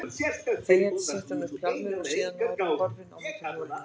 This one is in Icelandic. Þegjandi setti hún upp hjálminn og síðan var hún horfin á mótorhjólinu.